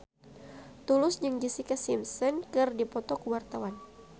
Tulus jeung Jessica Simpson keur dipoto ku wartawan